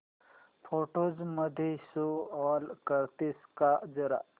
photos मध्ये show all करतेस का जरा